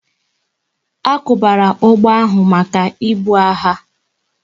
A kwubara ụgbọ ahu maka ibu agha